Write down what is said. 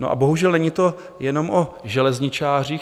No a bohužel není to jenom o železničářích.